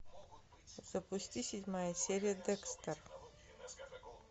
запусти седьмая серия декстер